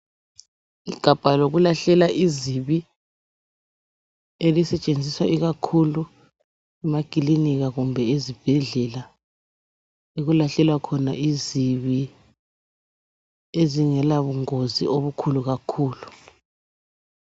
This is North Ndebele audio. Igabha lokulahlela izibi elisetshenziswa ikakhulu emakilinika kumbe ezibhedlela. Okulahlelwa khona izibi ezingela bungozi obukhulu kakhulu.